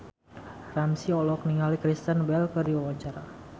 Ramzy olohok ningali Kristen Bell keur diwawancara